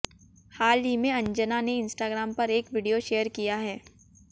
हाल ही में अंजना ने इंस्टाग्राम पर एक वीडियो शेयर किया है